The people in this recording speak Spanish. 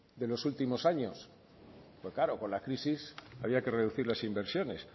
de los últimos años pero claro con la crisis había que reducir de las inversiones